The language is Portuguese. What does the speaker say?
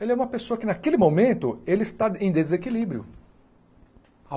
Ele é uma pessoa que, naquele momento, ele está em desequilíbrio.